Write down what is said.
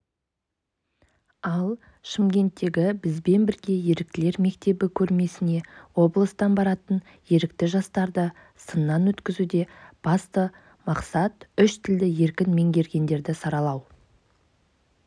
ал шымкенттегі бізбен бірге еріктілер мектебі көрмесіне облыстан баратын ерікті жастарды сыннан өткізуде басты мақсат үш тілді еркін меңгергендерді саралау